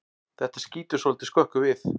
Þetta skýtur svolítið skökku við.